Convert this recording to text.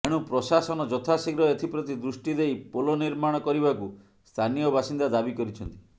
ଏଣୁ ପ୍ରଶାସନ ଯଥାଶୀଘ୍ର ଏଥିପ୍ରତି ଦୃଷ୍ଟି ଦେଇ ପୋଲ ନିର୍ମାଣ କରିବାକୁ ସ୍ଥାନୀୟ ବାସିନ୍ଦା ଦାବି କରିଛନ୍ତି